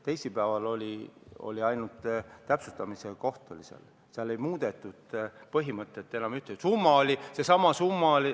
Teisipäeval oli ainult täpsustamine, seal ei muudetud enam ühtegi põhimõtet.